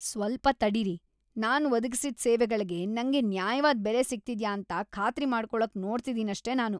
ಸ್ವಲ್ಪ ತಡೀರಿ, ನಾನ್ ಒದಗಿಸಿದ್ ಸೇವೆಗಳ್ಗೆ ನಂಗೆ ನ್ಯಾಯವಾದ್ ಬೆಲೆ ಸಿಗ್ತಿದ್ಯಾ ಅಂತ ಖಾತ್ರಿ ಮಾಡ್ಕೊಳಕ್‌ ನೋಡ್ತಿದೀನಷ್ಟೇ ನಾನು.